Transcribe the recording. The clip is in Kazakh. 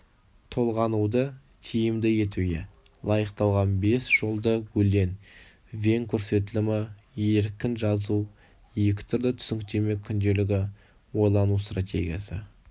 толғануды тиімді етуге лайықталған бес жолды өлең вен көрсетілімі еркін жазу екі түрлі түсініктеме күнделігі ойлану стратегиясы